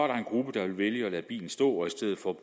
gruppe der vil vælge at lade bilen stå og i stedet for